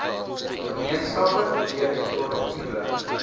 gemeenskappe weer produktiewe